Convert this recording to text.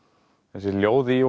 þessi ljóð í